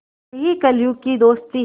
यही कलियुग की दोस्ती है